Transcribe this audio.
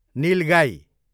निल गाई